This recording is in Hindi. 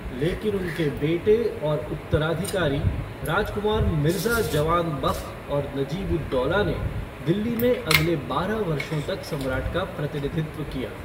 लेकिन उनके बेटे और उत्तराधिकारी, राजकुमार मिर्ज़ा जवान बख़्त और नजीब उल दौला ने दिल्ली में अगले बारह वर्षों तक सम्राट का प्रतिनिधित्व किया।